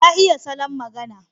Ya iya salon magana.